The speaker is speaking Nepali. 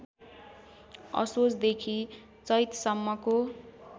असोजदेखि चैतसम्मको